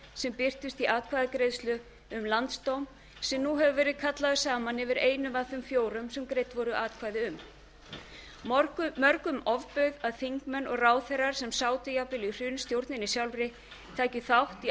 sem birtist í atkvæðagreiðslu um landsdóm sem nú hefur verið kallaður saman yfir einum af þeim fjórum sem greidd voru atkvæði um mörgum ofbauð að þingmenn og ráðherrar sem sátu jafnvel í hrunstjórninni sjálfri tækju þátt í